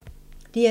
DR2